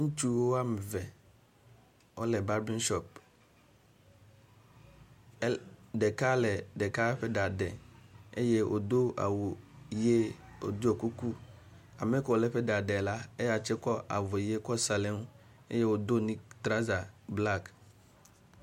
Ŋutsu woameve wole barbering shop el ɖeka le ɖeka ƒe ɖa ɖe eye wodo awu yie woɖiɔ kuku. Ameke wole eƒe ɖa ɖe la eya tse kɔ avɔyia kɔ sa ɖe ŋu eye wodo nik trouser black.